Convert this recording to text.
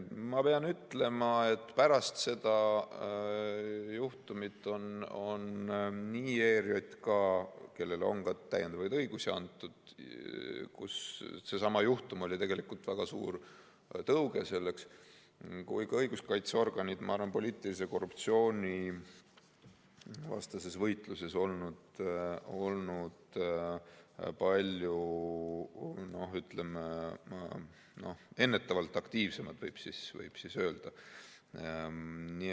Ma pean ütlema, et pärast seda juhtumit on nii ERJK, kellele on ka täiendavaid õigusi antud , kui ka õiguskaitseorganid, ma arvan, poliitilise korruptsiooni vastases võitluses olnud ennetavalt palju aktiivsemad, võib öelda.